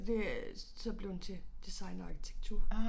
Og det er så blevet til design og arkitektur